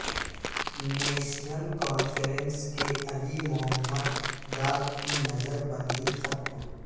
national Conference کے علی محمد ڈار کی نظر بندی ختم